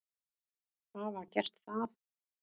hafa gert það.